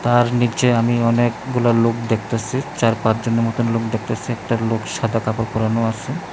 তার নিচে আমি অনেকগুলা লোক দেখতেসি চার পাঁচ জনের মতন লোক দেখতেসি একটা লোক সাদা কাপড় পরানো আছে।